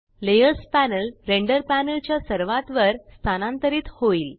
layer panel render panel च्या सर्वात वर स्थानांतरित होईल